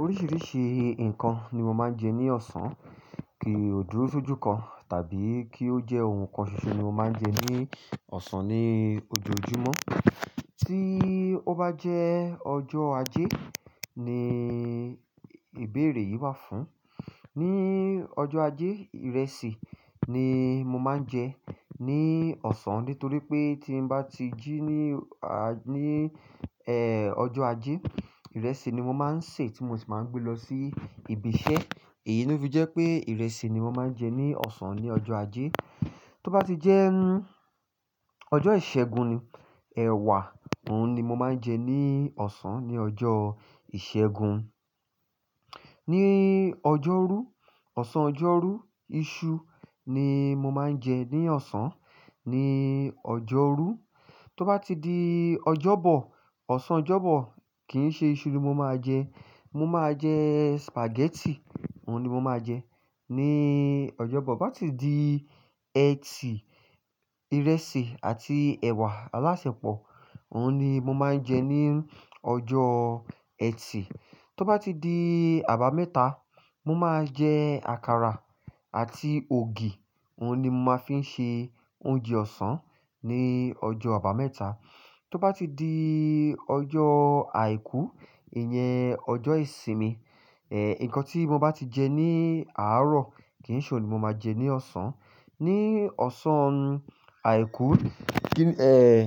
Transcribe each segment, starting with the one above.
Oríṣìíríṣìí nǹkan ni mo máa ń jẹ ní ọ̀sán, kì ó dúró sójú kan tàbí kí ó jẹ́ ohun kan ṣoṣo ni mo máa ń jẹ ní ọ̀sán ní ojoojúmọ́. Tí ó bá jẹ́ ọjọ́ ajé ni ìbéèrè yìí wà fún. Ni ọjọ́ ajé, ìrẹsì ni mo máa ń jẹ ní ọ̀sán nítorí pé tí mbá ti jí ní, àá, ní, ẹ́, ọjọ́ ajé, ìrẹsì ni mo máa ń sè tí mo sì máa ń gbé lọ sí ibi iṣẹ́. Èyí ló fi jẹ́ pé ìrẹsì ni mo máa ń jẹ ní ọ̀sán ní ọjọ́ ajé. Tó bá ti jẹ́ ọjọ́ ìṣẹ́gun ni, ẹ̀wà òhun ni mo máa ń jẹ ní ọ̀sán ní ọjọ́ ìṣẹ́gun. Ni ọjọ́rú, ọ̀sán ọjọ́rú, iṣu ni mo máa ń jẹ ní ọ̀sán ní ọjọ́rú. Tó bá ti di Ọjọ́bọ̀ ọ̀sán Ọjọ́bọ̀ kìí ṣe isu ni mo máa jẹ mo máa jẹ spaghetti òhun ni mo máa jẹ ní Ọjọ́bọ̀. Bá tì di ẹtì, ìrẹsì àti ẹ̀wà alásèpọ̀, òun ni mo máa ń jẹ ní ọjọ́ ẹtì. Tó bá ti di àbámẹ́ta, mo máa jẹ àkàrà àti ògì, òun ni mo máa fi ń ṣe oúnjẹ ọ̀sán ní ọjọ́ àbámẹ́ta. Tó bá ti di ọjọ́ àìkú, ìyẹn ọjọ́ ìsinmi, ẹ̀n, nǹkan tí mo bá ti jẹ ní àárọ̀ kì í ṣe ohun ni mo máa jẹ ní ọ̀sán. Ni ọ̀sán àìkú, kí, ẹ̀n,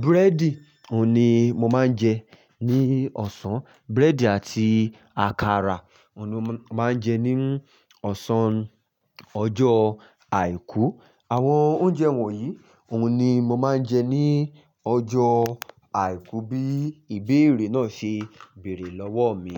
búrẹ́dì, òun ni mo máa ń jẹ ní ọ̀sán. Búrẹ́dì àti àkàrà, òun ni mo máa ń jẹ ní ọ̀sán ọjọ́ àìkú. Àwọn oúnjẹ wọ̀nyìí, òun ni mo máa ń jẹ ní ọjọ́ àìkú bí ìbéèrè náà ṣe bèrè lọ́wọ́ ọ̀ mi.